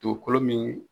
Dugukolo min